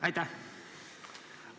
Aitäh!